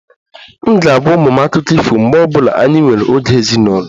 M ga-agwa ụmụ m akụkọ ifo mgbe ọ bụla anyị nwere oge ezinụlọ